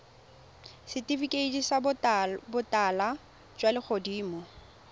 setifikeiti sa botala jwa legodimo